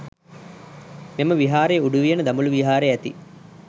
මෙම විහාරයේ උඩුවියන දඹුලු විහාරයේ ඇති